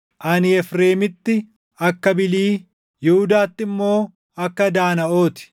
Ani Efreemitti akka bilii, Yihuudaatti immoo akka daanaʼoo ti.